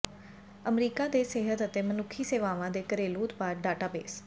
America ਦੇ ਸਿਹਤ ਅਤੇ ਮਨੁੱਖੀ ਸੇਵਾਵਾਂ ਦੇ ਘਰੇਲੂ ਉਤਪਾਦ ਡਾਟਾਬੇਸ